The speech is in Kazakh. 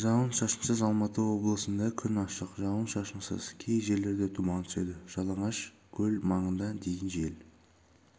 да жауын-шашынсыз алматы облысында күн ашық жауын-шашынсыз кей жерлерде тұман түседі жалаңашкөл маңында дейін жел